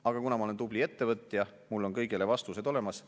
Aga kuna ma olen tubli ettevõtja, siis mul on kõigele vastused olemas.